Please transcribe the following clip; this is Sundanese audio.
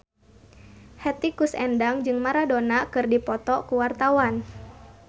Hetty Koes Endang jeung Maradona keur dipoto ku wartawan